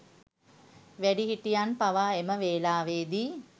වැඩිහිටියන් පවා එම වෙලාවේදී